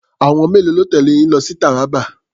Àwọn mélòó ló tẹ̀lé yín lọ sí Taraba?